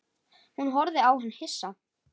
Hún horfði á hann hissa.